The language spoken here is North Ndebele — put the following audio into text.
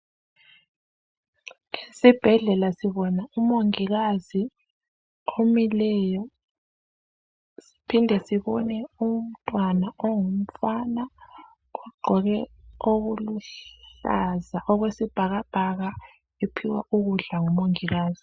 Esibhedlela sibona umongikazi omileyo siphinde sibone umntwana ongumfana ogqoke okuluhlaza okwesibhakabhaka ephiwa ukudla ngumongikazi.